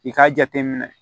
I k'a jateminɛ